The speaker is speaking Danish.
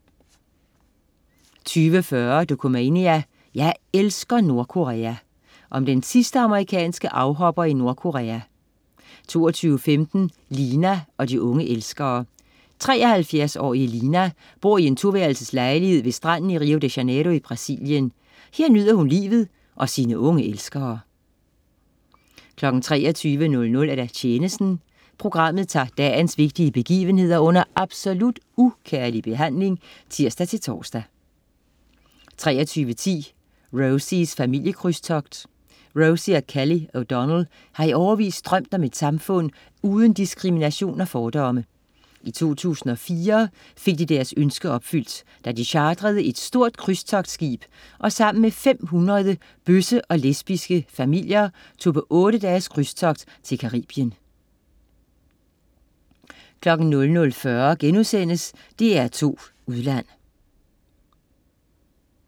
20.40 Dokumania: Jeg elsker Nordkorea! Om den sidste amerikanske afhopper i Nordkorea 22.15 Lina og de unge elskere. 73-årige Lina bor i en 2-værelses lejlighed ved stranden i Rio de Janeiro i Brasilien. Her nyder hun livet og sine unge elskere 23.00 Tjenesten. Programmet tager dagens vigtigste begivenheder under absolut ukærlig behandling (tirs-tors) 23.10 Rosies familiekrydstogt. Rosie og Kelli O'Donnell har i årevis drømt om et samfund uden diskrimination og fordomme. I 2004 fik de deres ønske opfyldt, da de chartrede et stort krydstogtskib og sammen med 500 bøsse- og lesbiske familier tog på otte dages krydstogt til Caribien 00.40 DR2 Udland*